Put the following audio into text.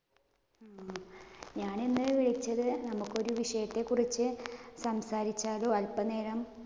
ഞാനിന്നു വിളിച്ചത് നമുക്ക് ഒരു വിഷയത്തെക്കുറിച്ച് സംസാരിച്ചാലോ? അല്പനേരം.